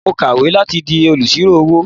Mò ń kàwé láti di olùṣírò-owó.